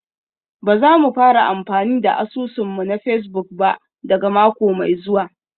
Ba za mu fara amfani da asusun mu na Facebook ba daga mako mai zuwa